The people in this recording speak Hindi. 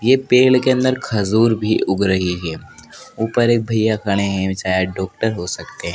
यह पेड़ के अंदर खजूर भी उग रही है ऊपर एक भैया खड़े हैं शायद डॉक्टर हो सकते हैं।